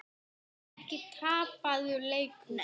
Er þetta ekki tapaður leikur?